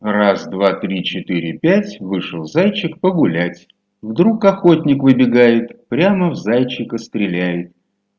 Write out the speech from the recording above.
раз два три четыре пять вышел зайчик погулять вдруг охотник выбегает прямо в зайчика стреляет